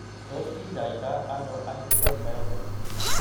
Tos kinyaita ano aggregate myopathy ?